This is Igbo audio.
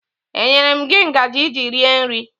E nyere m gị ngaji iji rie nri?